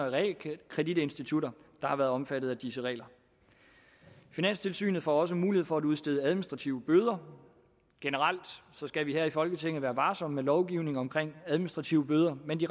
og realkreditinstitutter der har været omfattet af disse regler finanstilsynet får også mulighed for at udstede administrative bøder generelt skal vi her i folketinget være varsomme med lovgivning omkring administrative bøder men de